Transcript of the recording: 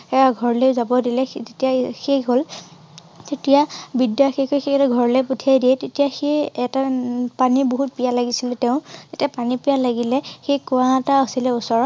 তেওঁ ঘৰলৈ যাব দিলে তেতিয়া সি সেই হল তেতিয়া বিদ্যা ঘৰলৈ পঠিয়াই দিয়ে তেতিয়া সেই এটা উম পানীৰ বহুত পিয়াহ লাগিছিল তেওঁ তেতিয়া পানী পীয়াহ লাগিলে সেই কোঁৱা এটা আছিলে ওচৰত